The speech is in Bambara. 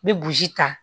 N bɛ burusi ta